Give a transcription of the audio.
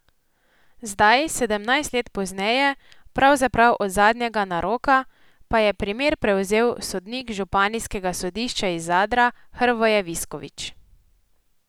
Zdaj, sedemnajst let pozneje, pravzaprav od zadnjega naroka, pa je primer prevzel sodnik županijskega sodišča iz Zadra Hrvoje Visković.